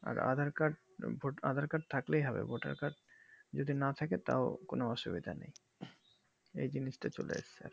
এ aadhar card থাকলেই হবে vote আর card যদি না থাকে তাও কোনো অসুবিধা নেই এই জিনিস তা চলে এসেছে